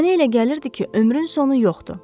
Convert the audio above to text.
Mənə elə gəlirdi ki ömrün sonu yoxdur.